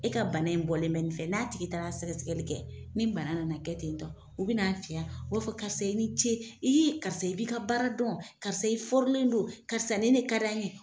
E ka bana in bɔlen bɛ nin fɛ , n'a tigi taara sɛgɛsɛgɛli kɛ ni bana nana kɛ ten u bi na fiya b'a fɔ karisa i ni ce, i karisa i b'i ka baara dɔn karisa i don, karisa nin ne ka d'an ye